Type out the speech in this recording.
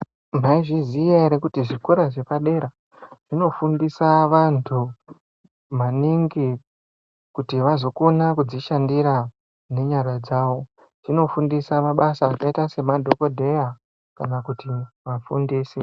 Mwaizviziya ere kuti zvikora zvepadera zvinofundisa vantu maningi kuti vazokone kudzishandira ngenyara dzavo. Zvinofundisa vantu mabasa akita semadhokodheya kana kuti vafundisi.